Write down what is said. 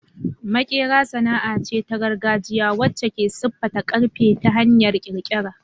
Maƙera sana'a ce ta gargajiya wacce ke siffata ƙarfe ta hanyar ƙirƙira.